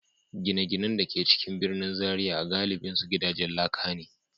Gine-ginen da ke cikin birnin Zariya galibinsu gidajen laka ne.